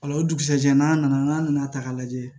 o dugusajɛ n'a nana n'a nana ta k'a lajɛ